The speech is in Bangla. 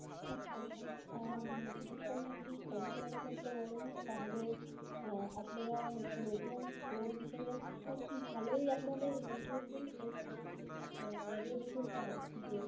আচ্ছা আচ্ছা উম দেখেন যদি compare করতে বলেন তাহলে আপনারা নতুন store হিসেবে তো খুব ভালোই আপনাদের improvement হয়েছে. কারণ আগে দেখেছিলাম যে